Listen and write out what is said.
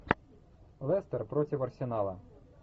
лестер против арсенала